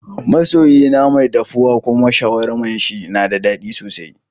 Ma soyi na mai daffuwa kuma sharwaman shi na da dadi sosai.